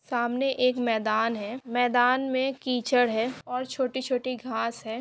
सामने एक मैदान है मैदान में कीचड़ है और छोटी-छोटी घास है।